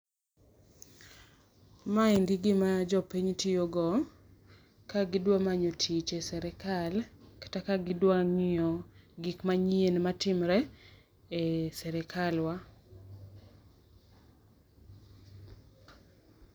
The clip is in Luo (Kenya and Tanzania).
Maendi gima jopiny tiyo go ka gidwa manyo tich e sirkal, kata gidwa ng'iyo gik manyien matimore e sirkal wa.